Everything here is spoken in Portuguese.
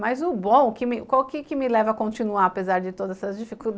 Mas o bom, o que me leva a continuar, apesar de todas essas dificuldades?